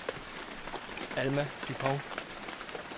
Alma Dupont